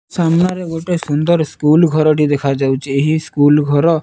ସାମ୍ନାରେ ଗୋଟେ ସୁନ୍ଦର ସ୍କୁଲ ଘରଟିଏ ଦେଖାଯାଉଚି ଏହି ସ୍କୁଲ ଘର --